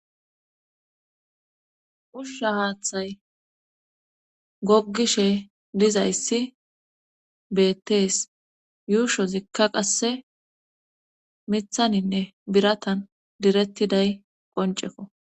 Ushsha haaththay goggishe dizayssi beettees yuusho zikka qasse mithaninne biratan direttiday qonceko